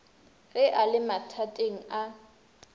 ge a le mathateng a